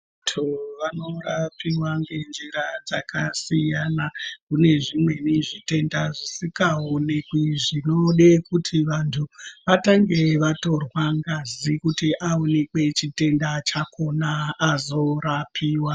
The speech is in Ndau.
Vantu vanorapiwa ngenjira dzakasiyana. Kune zvimweni zvitenda zvisikaonekwi, zvinode kuti vantu vatange vatorwa ngazi kuti aonekwe chitenda chakhona azorapiwa.